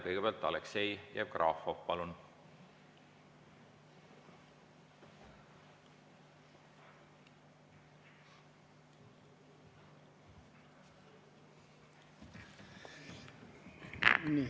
Kõigepealt Aleksei Jevgrafov, palun!